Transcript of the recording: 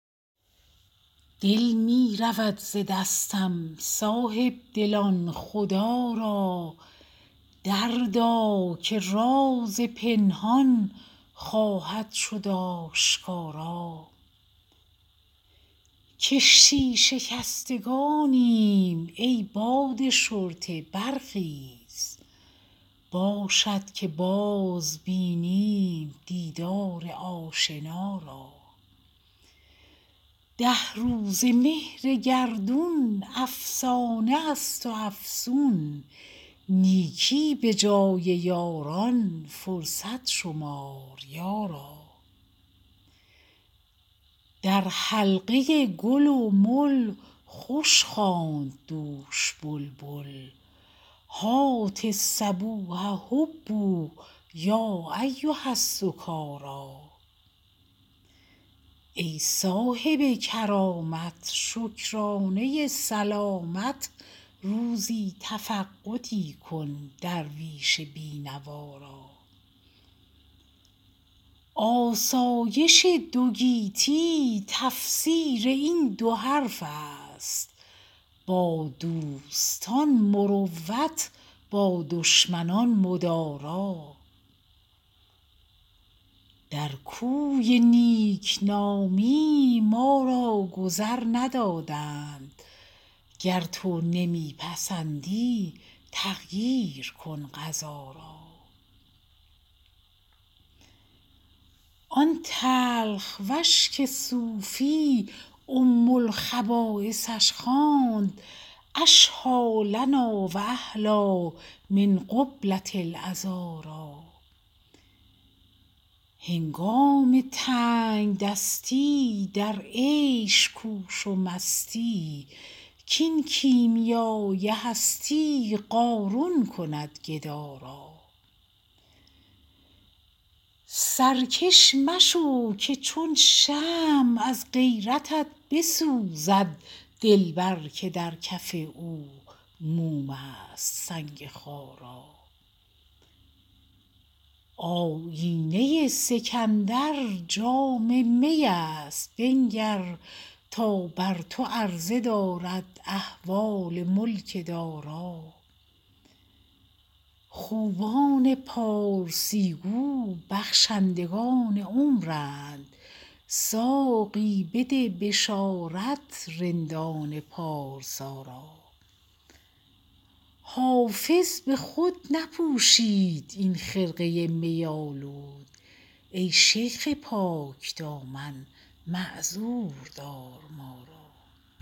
دل می رود ز دستم صاحب دلان خدا را دردا که راز پنهان خواهد شد آشکارا کشتی شکستگانیم ای باد شرطه برخیز باشد که باز بینم دیدار آشنا را ده روزه مهر گردون افسانه است و افسون نیکی به جای یاران فرصت شمار یارا در حلقه گل و مل خوش خواند دوش بلبل هات الصبوح هبوا یا ایها السکارا ای صاحب کرامت شکرانه سلامت روزی تفقدی کن درویش بی نوا را آسایش دو گیتی تفسیر این دو حرف است با دوستان مروت با دشمنان مدارا در کوی نیک نامی ما را گذر ندادند گر تو نمی پسندی تغییر کن قضا را آن تلخ وش که صوفی ام الخبایثش خواند اشهیٰ لنا و احلیٰ من قبلة العذارا هنگام تنگ دستی در عیش کوش و مستی کاین کیمیای هستی قارون کند گدا را سرکش مشو که چون شمع از غیرتت بسوزد دلبر که در کف او موم است سنگ خارا آیینه سکندر جام می است بنگر تا بر تو عرضه دارد احوال ملک دارا خوبان پارسی گو بخشندگان عمرند ساقی بده بشارت رندان پارسا را حافظ به خود نپوشید این خرقه می آلود ای شیخ پاک دامن معذور دار ما را